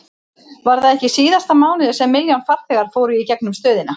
Var það ekki í síðasta mánuði sem milljón farþegar fóru í gegnum stöðina?